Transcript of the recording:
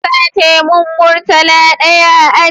An sace mun murtala ɗaya a aji